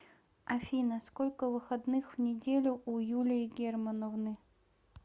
афина сколько выходных в неделю у юлии германовны